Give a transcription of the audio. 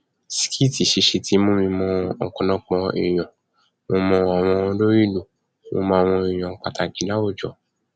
skit ṣiṣẹ ti mú mi mọ ọpọlọpọ èèyàn mo mọ àwọn olórí ìlú mọ màwọn èèyàn pàtàkì láwùjọ